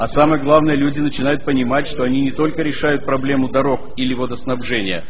а самое главное люди начинают понимать что они не только решают проблему дорог или водоснабжения